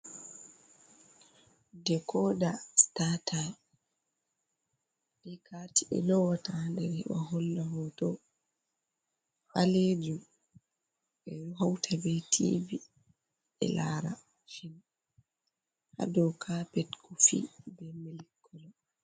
Dikoda sita taim be kati ɓe lowata ha der heɓa holla hoto, balejum, ɓe hauta be tivi e lara fim ha do kapet kofi.